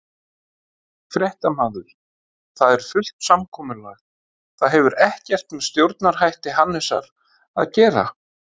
Fréttamaður: Það er fullt samkomulag, það hefur ekkert með stjórnarhætti Hannesar að gera?